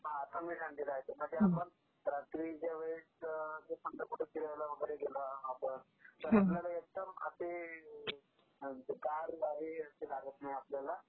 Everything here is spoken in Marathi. हा कमी थंडी राहते. म्हणजे आपण रात्रीच्या वेळेस समजा कुठे फिरायला वगैरे गेलो आपण, तर आपल्याला एकदम आपली काय म्हणते गार लागत नाही आपल्याला.